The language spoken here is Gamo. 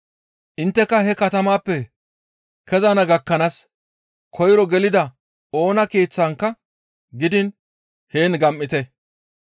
Intteka he katamayppe kezana gakkanaas koyro gelida oona keeththankka gidiin heen gam7ite.